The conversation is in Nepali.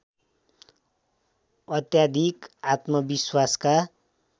अत्याधिक आत्मविश्वासका